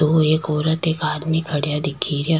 दो एक औरत एक आदमी खड़िया दिखे रिहा।